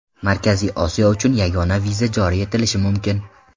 Markaziy Osiyo uchun yagona viza joriy etilishi mumkin.